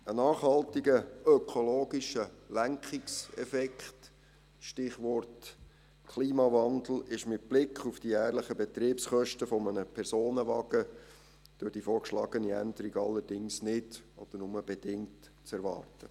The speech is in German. Ein nachhaltiger ökologischer Lenkungseffekt – Stichwort Klimawandel – ist mit Blick auf die jährlichen Betriebskosten eines Personenwagens durch die vorgeschlagene Änderung allerdings nicht oder nur bedingt zu erwarten.